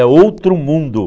É outro mundo.